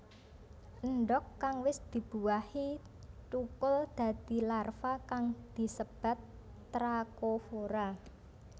Endhog kang wis dibuahi tukul dadi larva kang disebat trakofora